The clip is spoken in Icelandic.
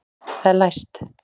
Það er læst!